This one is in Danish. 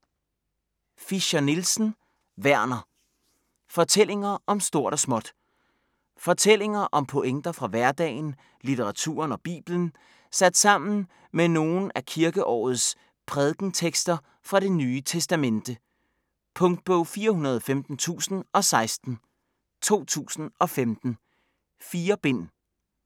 Fischer-Nielsen, Werner: Fortællinger om stort og småt Fortællinger og pointer fra hverdagen, litteraturen og Bibelen sat sammen med nogle af kirkeårets prædikentekster fra Det Nye Testamente. Punktbog 415016 2015. 4 bind.